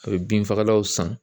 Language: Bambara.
A bɛ bin fagalaw san.